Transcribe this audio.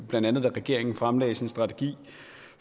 blandt andet da regeringen fremlagde sin strategi